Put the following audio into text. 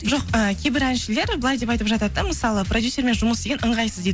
жоқ ы кейбір әншілер былай деп айтып жатады да мысалы продюсермен жұмыс істеген ыңғайсыз дейді